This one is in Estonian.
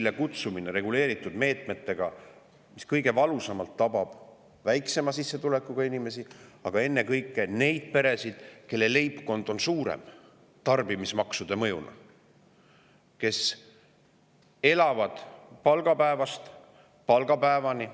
Ka on kutsutud reguleeritud meetmetega esile hinnatõusu, mis tabab kõige valusamalt väiksema sissetulekuga inimesi, aga ennekõike neid leibkondi, kelle on tarbimismaksude tõttu suuremad ja kes elavad palgapäevast palgapäevani.